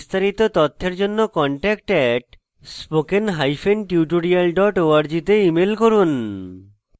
বিস্তারিত তথ্যের জন্য contact @spokentutorial org তে ইমেল করুন